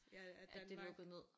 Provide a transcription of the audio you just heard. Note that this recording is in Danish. Ja at Danmark